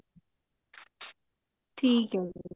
ਠੀਕ ਹੈ ਜੀ